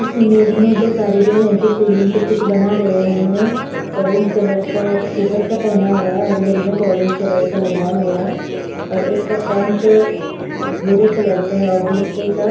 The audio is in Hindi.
इस इमेज में दो कारीगर है जो सीलिंग पे कुछ बना रहे है उन्होनेन ओरेंज कलर का उपर का पेहना हुआ है और हेलमेट ओरेंज कलर का लगाया हुआ है और एक का पैंट भूरे कलर का है और दुसरे का